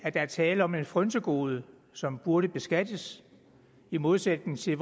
er tale om et frynsegode som burde beskattes i modsætning til